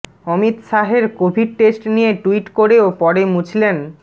অমিত শাহের covid test নিয়ে tweet করেও পরে মুছলেন